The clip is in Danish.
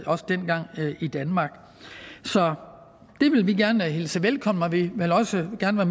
også dengang havde i danmark så det vil vi gerne hilse velkommen og vi vil også gerne